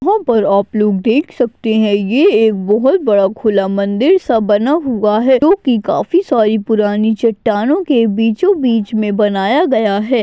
यहाँ पर आप लोग देख सकते हैं यह बहुत बड़ा खुला मंदिर सा बना हुआ है जो कि काफी सारी पुरानी चट्टानों के बीचों-बीच में बनाया गया है।